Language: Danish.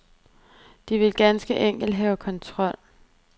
De vil ganske enkelt have kontrol.